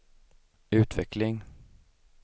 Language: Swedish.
utveckling